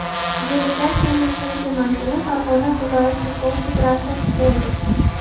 Delegatsiyaning keyingi manzili Farg‘ona viloyat futbol federatsiyasi bo‘ldi.